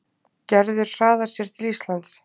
Gerður hraðar sér til Íslands.